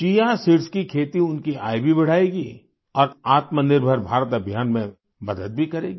chia seeds chia seeds की खेती उनकी आय भी बढ़ाएगी और आत्मनिर्भर भारत अभियान में भी मदद करेगी